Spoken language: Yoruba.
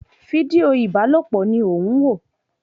Fídíò ìbálòpọ̀ ni ó ń wò